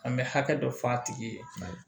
An bɛ hakɛ dɔ fɔ a tigi ye